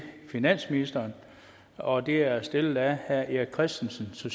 finansministeren og det er stillet af herre erik christensen